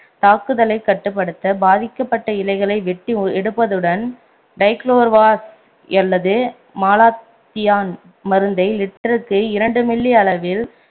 தாக்குதலைக் கட்டுப்படுத்த பாதிக்கப்பட்ட இலைகளை வெட்டி எடுப்பதுடன் டைக்குளோர்வால் அல்லது மாலத்தியான் மருந்தை litre க்கு இரண்டு milli அளவில்